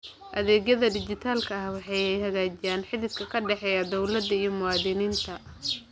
Adeegyada dijitaalka ah waxay hagaajiyaan xidhiidhka ka dhexeeya dawladda iyo muwaadiniinta.